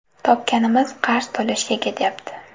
Topganimiz qarz to‘lashga ketyapti.